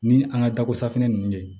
Ni an ka dako safinɛ ninnu de ye